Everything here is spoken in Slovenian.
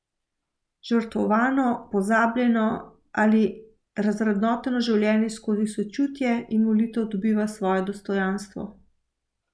Žrtvovano, pozabljeno ali razvrednoteno življenje skozi sočutje in molitev dobiva svoje dostojanstvo.